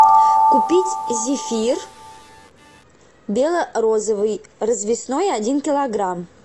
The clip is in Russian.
купить зефир бело розовый развесной один килограмм